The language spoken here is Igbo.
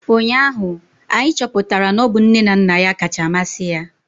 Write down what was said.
Ụnyahụ anyị chọpụtara na ọ bụ nne na nna ya kacha amasị ya